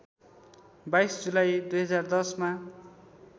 २२ जुलाई २०१० मा